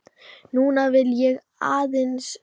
Núna vil ég aðeins skilja.